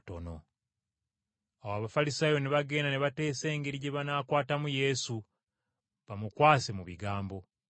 Awo Abafalisaayo ne bagenda ne bateesa engeri gye banaategamu Yesu bamukwase mu bigambo.